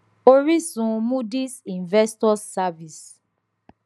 oríṣun moodys investors service